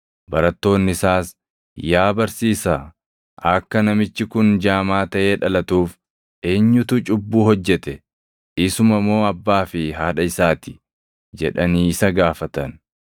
Barattoonni isaas, “Yaa barsiisaa, akka namichi kun jaamaa taʼee dhalatuuf eenyutu cubbuu hojjete? Isuma moo abbaa fi haadha isaa ti?” jedhanii isa gaafatan.